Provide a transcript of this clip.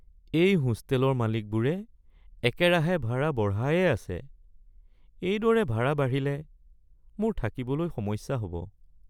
এই হোষ্টেলৰ মালিকবোৰে একেৰাহে ভাড়া বঢ়ায়েই আছে, এইদৰে ভাড়া বাঢ়িলে মোৰ থাকিবলৈ সমস্যা হ'ব।